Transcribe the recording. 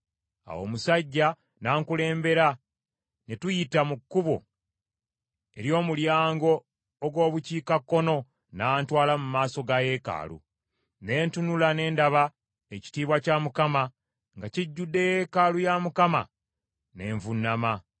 Awo omusajja n’ankulembera ne tuyita mu kkubo ery’omulyango ogw’Obukiikakkono n’antwala mu maaso ga yeekaalu. Ne ntunula ne ndaba ekitiibwa kya Mukama nga kijjudde yeekaalu ya Mukama , ne nvuunama.